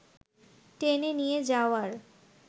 টেনে নিয়ে যাওয়ার